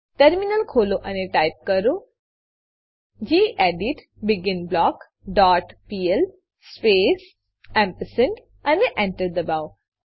terminal ખોલો અને type કરો gedit begin block dot PL space ampersand ampersand અને Enter દબાવો